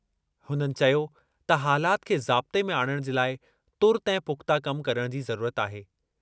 हुननि चयो त हालात खे ज़ाब्ते में आणणु जे लाइ तुर्तु ऐं पुख़्ता कम करणु जी ज़रूरत आहे।